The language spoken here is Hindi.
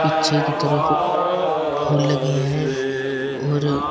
पीछे की तरफ फुल लगे है और--